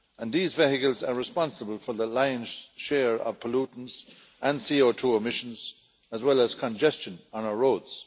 These vehicles are responsible for the lion's share of pollutants and CO2 emissions as well as congestion on our roads.